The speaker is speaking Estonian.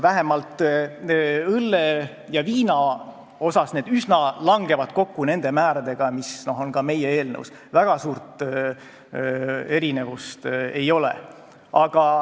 Vähemalt õllel ja viinal langevad need üsna kokku nende määradega, mis on ka meie eelnõus, väga suurt erinevust ei ole.